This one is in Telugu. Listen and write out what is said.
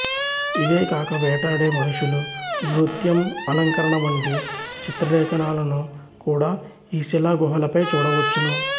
ఇవే కాక వేటాడే మనుషులు నృత్యం అలంకరణ వంటి చిత్రలేఖనాలను కూడా ఈ శిలా గుహలపై చూడవచ్చును